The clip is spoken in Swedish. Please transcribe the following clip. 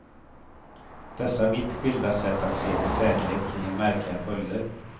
Dessa vitt skilda sätt att se på säkerhet kan ge märkliga följder.